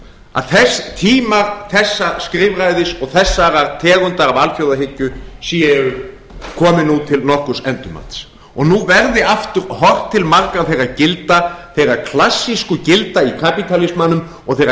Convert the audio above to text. að tímar þessa skrifræðis og þessarar tegundar af alþjóðahyggju komi nú til nokkurs endurmats og nú verði aftur horft til margra þeirra gilda þeirra klassísku gilda í kapítalismanum og þeirra